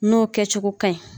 N'o kɛ cogo ka ɲi.